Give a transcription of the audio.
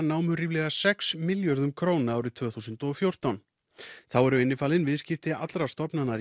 námu ríflega sex milljörðum króna árið tvö þúsund og fjórtán þá eru innifalin viðskipti allra stofnana